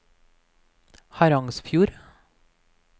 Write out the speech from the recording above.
Harangsfjord